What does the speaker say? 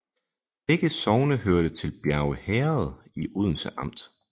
Begge sogne hørte til Bjerge Herred i Odense Amt